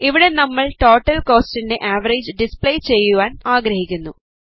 ഇവിടെ നമ്മൾ ടോട്ടൽ കൊസ്റ്റിൻറെ ആവറേജ് ഡിസ്പ്ലേ ചെയ്യുവാൻ ആഗ്രഹിക്കുന്നു